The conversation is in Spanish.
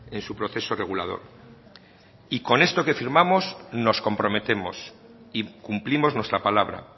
en su proceso regulador y con esto que firmamos nos comprometemos y cumplimos nuestra palabra